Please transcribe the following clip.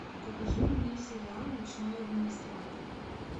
покажи мне сериал ночной администратор